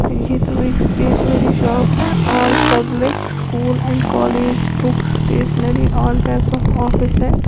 ये तो एक स्टेशनरी शॉप है all public school and college book stationery all types of office है।